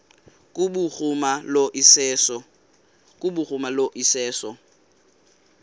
kubhuruma lo iseso